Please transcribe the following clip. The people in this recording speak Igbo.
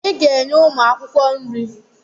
I ga-enye ụmụ akwụkwọ nri!